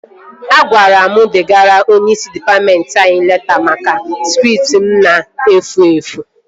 A gwara m degara onyeisi dịpatmentị anyị leta maka skript m na-efu efu